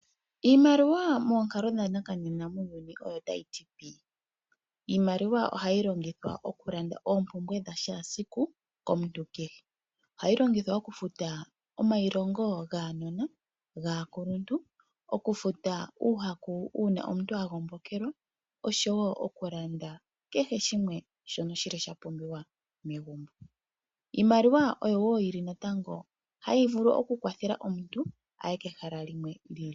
Iimaliwa moonkalo dha nakanena muuyuni mbuka otayi ti pi. Iimaliwa ohayi longithwa oku landa oompumbwe dha shaasiku komuntu kehe. Ohayi longithwa oku futa omayilongo gaanona, gaakuluntu. Oku futa uuhaku uuna omuntu a gombokelwa osho wo oku landa kehe shimwe shono shili sha pumbiwa megumbo. Iimaliwa oyo wo hayi vulu oku kwathela omuntu aye kehala limwe li ili.